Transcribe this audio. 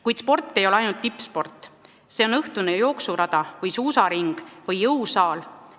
Kuid sport ei ole ainult tippsport, see on ka õhtune jooksurada, suusaring või jõusaal.